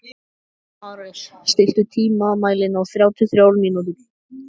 Ares, stilltu tímamælinn á þrjátíu og þrjár mínútur.